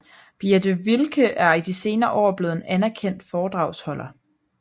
Birthe Wilke er i de senere år blevet en anerkendt foredragsholder